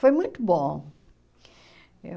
Foi muito bom.